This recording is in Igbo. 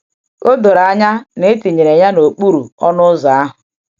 O doro anya na e tinyere ya n’okpuru ọnụ ụzọ ahụ.